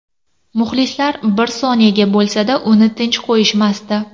Muxlislar bir soniyaga bo‘lsa-da uni tinch qo‘yishmasdi.